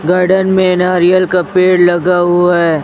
Garden में नारियल का पेड़ लगा हुआ है।